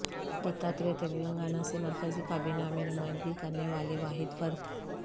دتاتریہ تلنگانہ سے مرکزی کابینہ میں نمائندگی کرنے والے واحد فرد